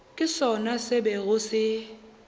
ke sona se bego se